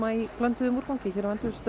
í blönduðum úrgangi hérna